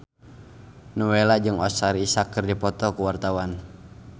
Nowela jeung Oscar Isaac keur dipoto ku wartawan